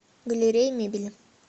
галерея мебели